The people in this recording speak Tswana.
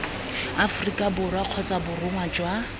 aforika borwa kgotsa borongwa jwa